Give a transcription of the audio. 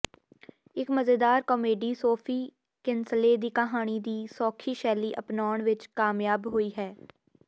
ਇੱਕ ਮਜ਼ੇਦਾਰ comedy Sophie Kinsella ਦੀ ਕਹਾਣੀ ਦੀ ਸੌਖੀ ਸ਼ੈਲੀ ਅਪਣਾਉਣ ਵਿੱਚ ਕਾਮਯਾਬ ਹੋਈ ਹੈ